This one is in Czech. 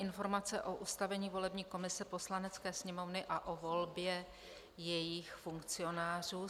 Informace o ustavení volební komise Poslanecké sněmovny a o volbě jejích funkcionářů